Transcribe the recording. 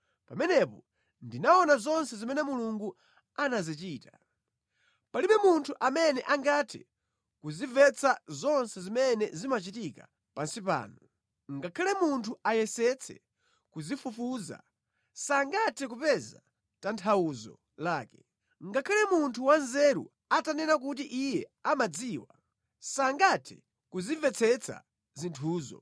pamenepo ndinaona zonse zimene Mulungu anazichita. Palibe munthu amene angathe kuzimvetsa zonse zimene zimachitika pansi pano. Ngakhale munthu ayesetse kuzifufuza, sangathe kupeza tanthauzo lake. Ngakhale munthu wanzeru atanena kuti iye amadziwa, sangathe kuzimvetsetsa zinthuzo.